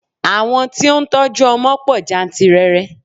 Àwọn tí ó ń tọ́jú ọmọ pọ̀ jáǹtìrẹrẹ.